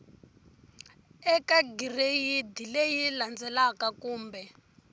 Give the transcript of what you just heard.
eka gireyidi leyi landzelaka kumbe